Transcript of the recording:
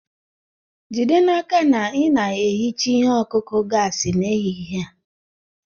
Jide n'aka na ị na-ehicha ihe ọkụkụ gasi n'ehihie a!